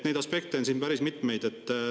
Neid aspekte on päris mitmeid.